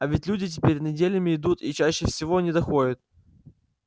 а ведь люди теперь неделями идут и чаще всего не доходят